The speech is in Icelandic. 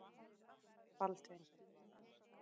Baldvin